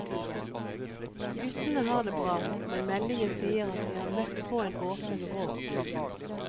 Guttene har det bra, men meldingene sier at de har møtt på en åpen råk.